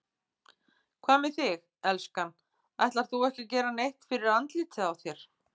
Hvað með þig, elskan. ætlar þú ekki að gera neitt fyrir andlitið á þér?